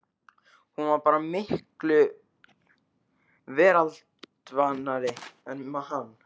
Hún var bara miklu veraldarvanari en hann.